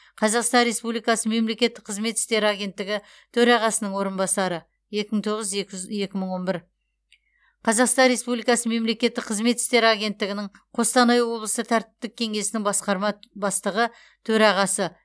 қазақстан республикасы мемлекеттік қызмет істері агенттігі төрағасының орынбасары екі мың тоғыз екі мың он бір қазақстан республикасы мемлекеттік қызмет істері агенттігінің қостанай облысы тәртіптік кеңесінің басқарма бастығы төрағасы